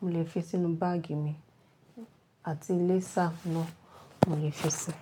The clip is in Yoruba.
mò lè fi sínù bag mi àti laser náà mò lè fi sẹ̀